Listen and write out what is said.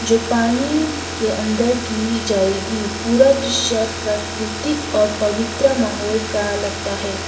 पानी के अंदर की जाएगी पूरा दृश्य प्राकृतिक और पवित्र माहौल का लगता है।